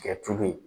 Kɛ tulu ye